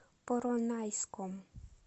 поронайском